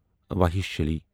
وحاشلی